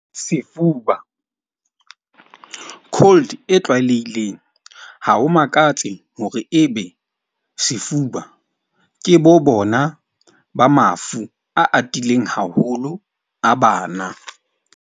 Sefuba, cold e tlwaelehileng ha ho makatse hore ebe sefuba ke bo bona ba mafu a atileng haholo a bana.